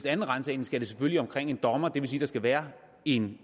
anden ransagning skal det selvfølgelig ind omkring en dommer det vil sige at der skal være en